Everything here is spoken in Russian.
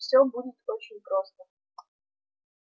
всё будет очень просто